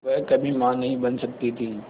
वह कभी मां नहीं बन सकती थी